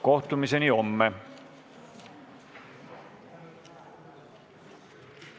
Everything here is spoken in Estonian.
Kohtumiseni homme!